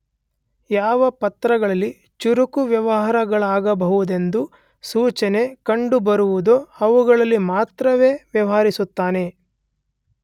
ಯಾವ ಪತ್ರಗಳಲ್ಲಿ ಚುರುಕು ವ್ಯವಹಾರಗಳಾಗಬಹುದೆಂಬ ಸೂಚನೆ ಕಂಡುಬರುವುದೋ ಅವುಗಳಲ್ಲಿ ಮಾತ್ರವೇ ವ್ಯವಹರಿಸುತ್ತಾನೆ.